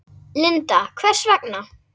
Linda: Hvers vegna?